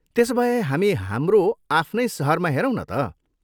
त्यसोभए, हामी हाम्रो आफ्नै सहरमा हेरौँ न त?